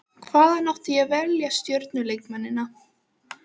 Hvaðan átti ég að velja stjörnuleikmennina?